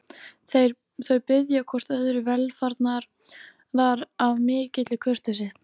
Þau biðja hvort öðru velfarnaðar af mikilli kurteisi.